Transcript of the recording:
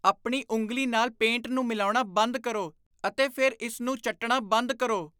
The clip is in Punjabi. ਆਪਣੀ ਉਂਗਲੀ ਨਾਲ ਪੇਂਟ ਨੂੰ ਮਿਲਾਉਣਾ ਬੰਦ ਕਰੋ ਅਤੇ ਫਿਰ ਇਸ ਨੂੰ ਚੱਟਣਾ ਬੰਦ ਕਰੋ।